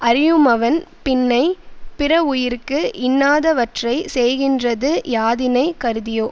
அறியுமவன் பின்னை பிறவுயிர்க்கு இன்னாதவற்றை செய்கின்றது யாதினைக் கருதியோ